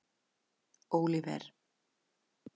Óliver